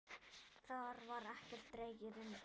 Þar var ekkert dregið undan.